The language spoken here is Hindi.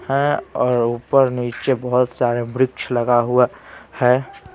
हैं और ऊपर नीचे बहुत सारे वृक्ष लगा हुआ हैं।